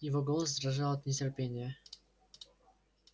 его голос дрожал от нетерпения